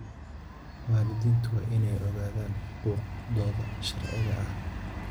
Waalidiintu waa inay ogaadaan xuquuqdooda sharciga ah.